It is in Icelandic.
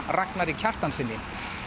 Ragnari Kjartanssyni